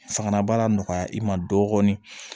Fanga bara nɔgɔya i ma dɔɔnin